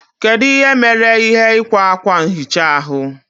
Kedu ihe mere ihe ikwa akwa nhicha ahụ?